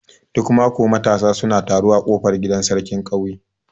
Duk mako matasa suna taro a kofar gidan sarkin ƙauye.